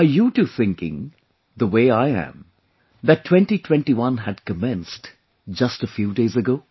Are you too thinking, the way I am that 2021 had commenced just a few days ago